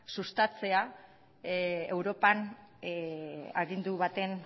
sustatzea europan agindu baten